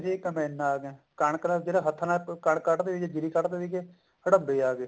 ਸੀ ਕੰਬਾਈਨਾਂ ਆਗੀਆਂ ਕਣਕ ਤਾਂ ਜਿਹੜਾ ਹੱਥਾਂ ਨਾਲ ਕਣਕ ਕੱਟ ਦੇ ਸੀਗੇ ਜੀਰੀ ਕੱਡ ਦੇ ਸੀਗੇ ਹੜਮਬੇ ਆਗੇ